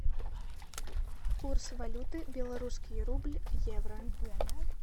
курс валюты белорусский рубль евро